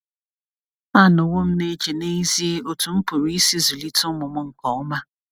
Anọwo m na - eche n’ezie otú m pụrụ isi zụlite ụmụ m nke ọma.